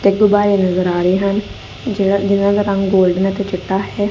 ਤੇ ਗੁਬਾਰੇ ਨਜ਼ਰ ਆ ਰਹੇ ਹਨ ਜਿਨਾਂ ਜਿਨਾਂ ਦਾ ਰੰਗ ਗੋਲਡਨ ਅਤੇ ਚਿੱਟਾ ਹੈ।